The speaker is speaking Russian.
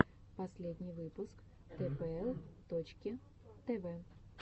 последний выпуск тпл точки тв